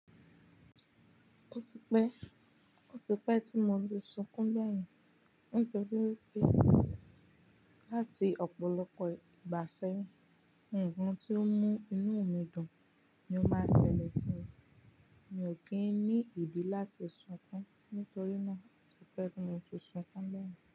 Ó ti pẹ́, ó ti pẹ́ tí mo ti sunkún gbẹ́yìn. Nítorí wipé láti ọ̀pọ̀lọpọ̀ ìgbà sẹ́yìn, nnkan tí ó ń mú inúu mi dùn ni ó máa ń ṣẹlẹ̀ sí mi. Mi ò kí ń ní ìdí láti sunkún, nítorí náà ó ti pẹ́ tí mo ti sunkún gbẹ́yìn.